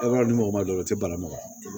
A ka di mɔgɔ ma dɔrɔn o tɛ bala maga